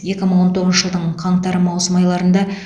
екі мың он тоғызыншы жылдың қаңтар маусым айларында